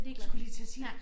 Skulle lige til at sige det